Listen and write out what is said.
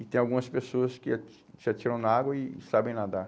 E tem algumas pessoas que ah se se atiram na água e sabem nadar.